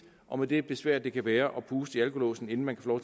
og med det besvær der kan være ved at puste i alkolåsen inden man kan få